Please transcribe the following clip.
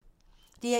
DR1